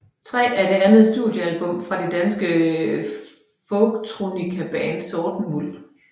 III er det andet studiealbum fra det danske folktronicaband Sorten Muld